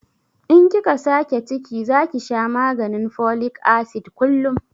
In kika sake ciki zaki sha maganin folik asid kullum